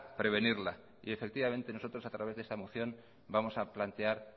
prevenirla efectivamente nosotros a través de esta moción vamos a plantear